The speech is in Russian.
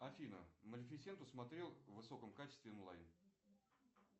афина малефисенту смотрел в высоком качестве онлайн